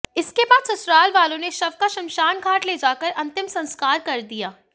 इसके बाद ससुराल वालों ने शव का श्मशान घाट ले जाकर अंतिम संस्कार कर दिया